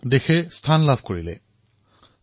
দেশৰ আত্ম সুৰক্ষাৰ অধিক সৱলীকৰণ হল